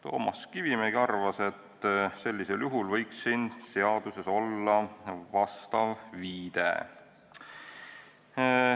Toomas Kivimägi arvas, et sellisel juhul võiks seaduses olla vastav viide.